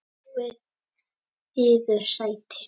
Fáið yður sæti.